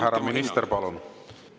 Härra minister, palun!